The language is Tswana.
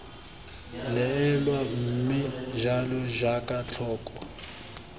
neelwa mme jalo jaaka tlhoko